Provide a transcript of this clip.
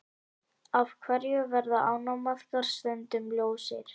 Af hverju verða ánamaðkar stundum ljósir?